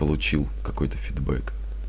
получил какой-то фидбек